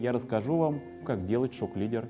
я расскажу вам как делать шок лидер